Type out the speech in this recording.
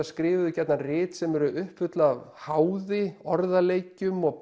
skrifuðu gjarnan rit sem eru uppfull af háði orðaleikjum og